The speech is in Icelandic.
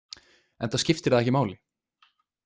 Enda skipti það ekki máli.